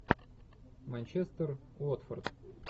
манчестер уотфорд